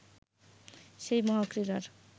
সেই মহাক্রীড়ার